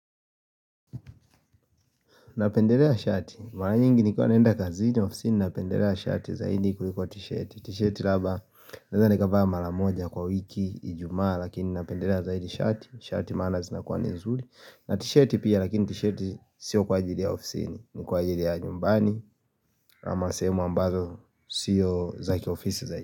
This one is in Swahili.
Napendelea shati, mara nyingi nikuwa naenda kazini ofisini napendelea shati zaidi kuliko t-shati T-shati labda, naweza nikavaa maramoja kwa wiki, ijumaa lakini napendelea zaidi shati. Shati maana zinakuwa ni nzuri na t-shati pia lakini t-shati sio kwa ajili ya ofisini, ni kwa ajili ya nyumbani ama sehemu ambazo sio zakiofisi zaidi.